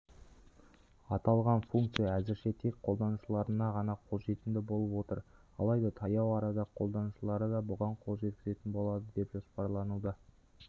аталған функция әзірше тек қолданушыларына ғана қолжетімді болып отыр алайда таяу арада қолданушылары да бұған қол жеткізетін болады деп жоспарлануда